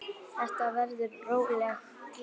Þetta verður róleg gleði bara.